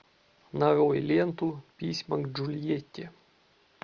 нарой ленту письма к джульетте